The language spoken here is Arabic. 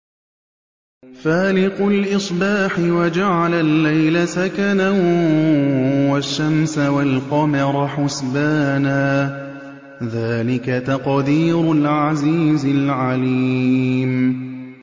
فَالِقُ الْإِصْبَاحِ وَجَعَلَ اللَّيْلَ سَكَنًا وَالشَّمْسَ وَالْقَمَرَ حُسْبَانًا ۚ ذَٰلِكَ تَقْدِيرُ الْعَزِيزِ الْعَلِيمِ